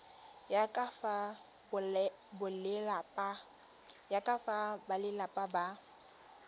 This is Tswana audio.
ya ka fa balelapa ba